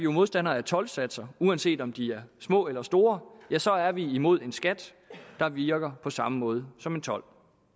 modstandere af toldsatser uanset om de er små eller store så er vi imod en skat der virker på samme måde som en told